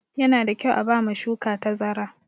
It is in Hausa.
Yana da kyau a ba ma shuka tazara.